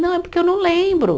Não, é porque eu não lembro.